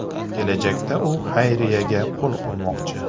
Kelajakda u xayriyaga qo‘l urmoqchi.